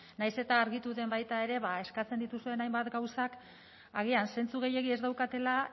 nahiz eta argitu den baita ere ba eskatzen dituzuen hainbat gauzak agian zentzu gehiegi ez daukatela